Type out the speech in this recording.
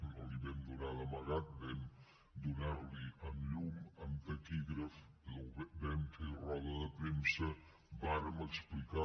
no l’hi vam donar d’amagat vam donar l’hi amb llum amb taquígrafs vam fer roda de premsa vàrem explicar